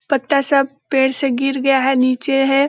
पत्ता सब पेड़ से गिर गया है नीचे है।